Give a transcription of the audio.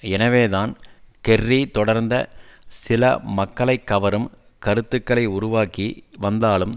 எனவே தான் கெர்ரி தொடர்ந்த சில மக்களை கவரும் கருத்துகளை உருவாக்கி வந்தாலும்